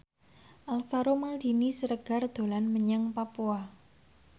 Alvaro Maldini Siregar dolan menyang Papua